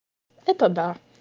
это да